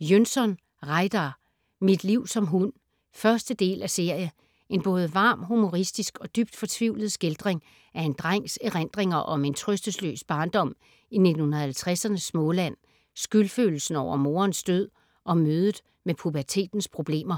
Jönsson, Reidar: Mit liv som hund 1. del af serie. En både varm, humoristisk og dybt fortvivlet skildring af en drengs erindringer om en trøstesløs barndom i 1950'ernes Småland, skyldfølelsen over moderens død og mødet med pubertetens problemer.